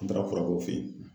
An tara furakɛ o fe yen.